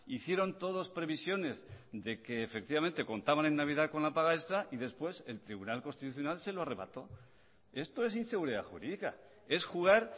hicieron todos previsiones de que efectivamente contaban en navidad con la paga extra y después el tribunal constitucional se lo arrebató esto es inseguridad jurídica es jugar